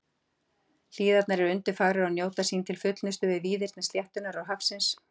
Hlíðarnar eru undurfagrar og njóta sín til fullnustu við víðerni sléttunnar og hafsins.